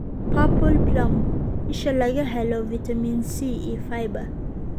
Purple (Plum): isha laga helo fiitamiin C iyo fiber.